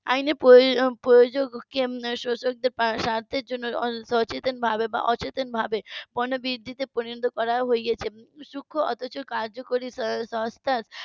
আইনের . কে শোষক দের স্বার্থের জন্য সচেতন ভাবে বা অচেতন ভাবে পণ্য বৃদ্ধি তে পরিণত করা হয়েছে সূক্ষ অথচ কার্যকরী সংস্থার